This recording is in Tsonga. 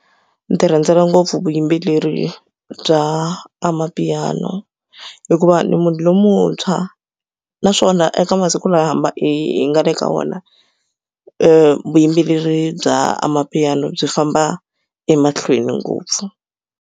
Ni tirhandzela ngopfu vuyimbeleri bya amapiano hikuva ni munhu lomuntshwa naswona eka masiku lama hi hi nga le ka wona vuyimbeleri bya amapiano byi famba emahlweni ngopfu.